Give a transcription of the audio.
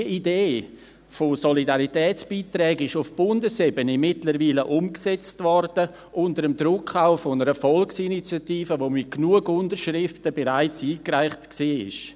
Diese Idee von Solidaritätsbeiträgen wurde auf Bundesebene mittlerweile umgesetzt, unter dem Druck auch einer Volksinitiative, die bereits mit genug Unterschriften eingereicht worden war.